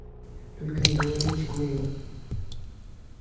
только не говорите куинну